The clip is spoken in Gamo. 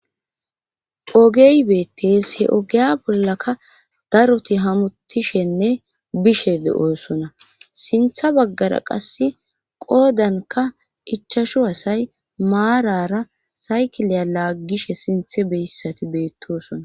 Ogey beettees he ogeya bollaka daroti hamutishenne bishee7oosona sintha baggara qass qoodanka ichashu asay maarara saykileya laaggishe sinthe beyssati beettosona.